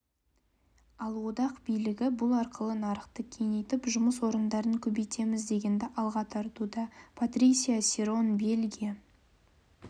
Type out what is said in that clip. ал одақ билігі бұл арқылы нарықты кеңейтіп жұмыс орындарын көбейтеміз дегенді алға тартуда патрисия серон бельгия